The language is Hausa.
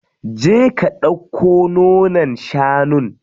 Je ka ɗauko nonon shanun.